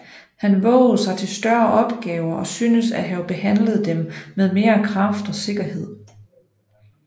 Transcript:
Han vovede sig til større opgaver og synes at have behandlet dem med mere kraft og sikkerhed